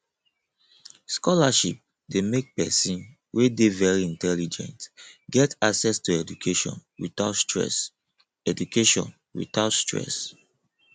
scholarship de make persin wey de very intelligent get access to education without stress education without stress